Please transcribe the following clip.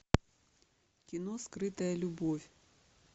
кино скрытая любовь